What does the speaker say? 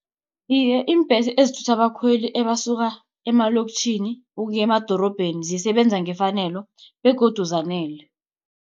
Iye, iimbhesi ezithutha abakhweli ebasuka emaloktjhini, ukuya emadorobheni zisebenza ngefanelo begodu zanele.